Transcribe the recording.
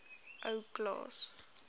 ou klaas